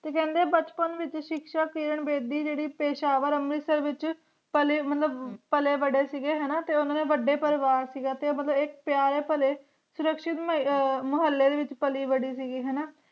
ਤੇ ਕਹਿੰਦੇ ਬਚਪਨ ਵਿਚ ਕਿਰਣ ਬੇਦੀ ਜਿਹੜੀ ਪੇਸ਼ਾਵਰ ਅੰਮ੍ਰਿਤਸਰ ਵਿਚ ਪਲੇ ਮਤਲਬ ਪਲੇ ਬੜੇ ਸੀਗੇ ਹਣਾ ਤੇ ਉਨ੍ਹਾ ਦਾ ਵੱਡਾ ਪਰਿਵਾਰ ਸੀਗਾ ਤੇ ਉਹ ਪਿਆਰ ਭਰੇ ਸੁਰਕ੍ਸ਼ਿਤ ਅਹ ਮੁਹੱਲੇ ਵਿਚ ਪਲੀ ਬੜੀ ਸੀ ਗੀ ਹਣਾ